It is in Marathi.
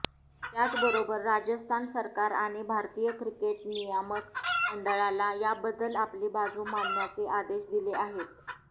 त्याचबरोबर राजस्थान सरकार आणि भारतीय क्रिकेट नियामक मंडळाला याबद्दल आपली बाजू मांडण्याचे आदेश दिले आहेत